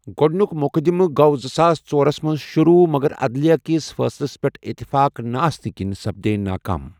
گۄڈنِیُک مٗقدِمہٕ گوو زٕساس ژورس منز شروع مگر عدلیہ کِس فٲصلس پیٹھ اتفاق نہٕ آسنہٕ كِنۍ سپدے ناكا م ۔